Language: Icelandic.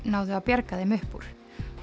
náðu að bjarga þeim upp úr